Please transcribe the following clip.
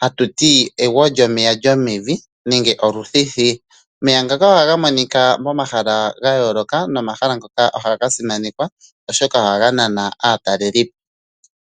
hatu ti egwo lyomeya lyomevi nenge oluthithiya. Omeya ngaka ohaga monika momahala ga yooloka nomahala ngoka ohaga simanekwa, oshoka ohaga nana aatalelipo.